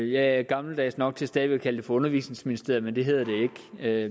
jeg er gammeldags nok til stadig væk at kalde det for undervisningsministeriet men det hedder det